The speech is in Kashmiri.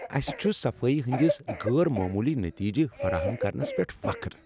اسہ چھ صفائی ہنٛدس غٲر معمولی نٔتیٖجہٕ فراہم کرنس پؠٹھ فخر۔